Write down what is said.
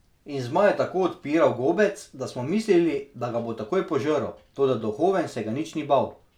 In zmaj je tako odpiral gobec, da smo mislili, da ga bo takoj požrl, toda duhoven se ga ni nič bal.